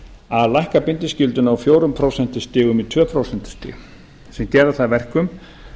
að lækka bindiskylduna úr fjórum prósentum í tvö prósent sem gerir það að verkum